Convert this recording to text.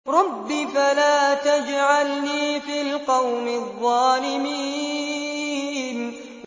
رَبِّ فَلَا تَجْعَلْنِي فِي الْقَوْمِ الظَّالِمِينَ